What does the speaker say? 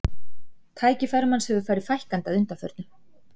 Tækifærum hans hefur farið fækkandi að undanförnu.